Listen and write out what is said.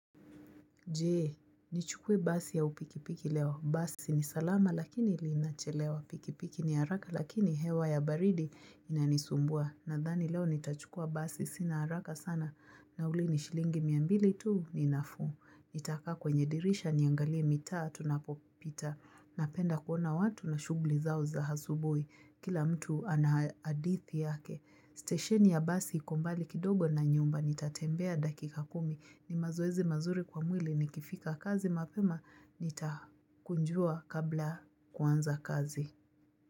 Jee, nichukuwe basi au pikipiki leo. Basi ni salama lakini ilinachelewa. Pikipiki ni haraka lakini hewa ya baridi inanisumbua. Nadhani leo nitachukwa basi sina haraka sana. Nauli ni shilingi mia mbili tuu ni nafu. Nitaka kwenye dirisha niangalie mitaa tuna popita. Napenda kuona watu na shugli zao za hasubui. Kila mtu anahadithi yake. Station ya basi ikombali kidogo na nyumbani nitatembea dakika kumi ni mazoezi mazuri kwa mwili nikifika kazi mapema nitakunjua kabla kuanza kazi.